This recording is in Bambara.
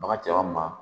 Baga cɛw ma